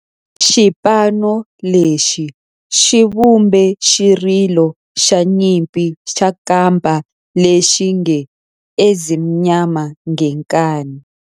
Xipano lexi xi vumbe xirilo xa nyimpi xa kampa lexi nge 'Ezimnyama Ngenkani'.